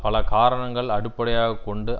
பல காரணங்கள் அடிப்படையாக கொண்டு